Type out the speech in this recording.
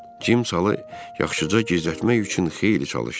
Cim salı yaxşıca gizlətmək üçün xeyli çalışdı.